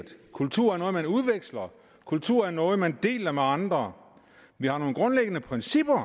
kultur er noget man udveksler kultur er noget man deler med andre vi har nogle grundlæggende principper